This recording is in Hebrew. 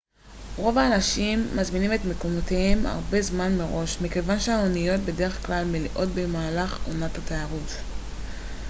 רוב האנשים מזמינים את מקומותיהם הרבה זמן מראש מכיוון שהאניות בדרך-כלל מלאות במהלך עונת התיירות